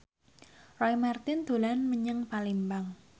Roy Marten dolan menyang Palembang